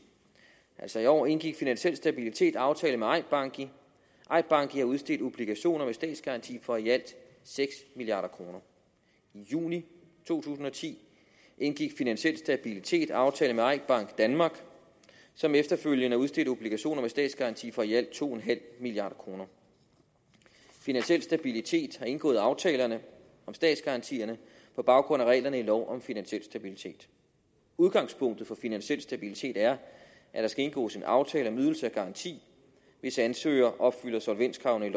altså i år indgik finansiel stabilitet aftale med eik banki og eik banki har udstedt obligationer med statsgaranti for i alt seks milliard kroner i juni to tusind og ti indgik finansiel stabilitet aftale med eik bank danmark som efterfølgende udstedte obligationer med statsgaranti for i alt to milliard kroner finansiel stabilitet har indgået aftalerne om statsgaranti på baggrund af reglerne i lov om finansiel stabilitet udgangspunktet for finansiel stabilitet er at der skal indgås en aftale om ydelse og garanti hvis ansøger opfylder solvenskravene i